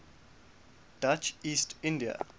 dutch east india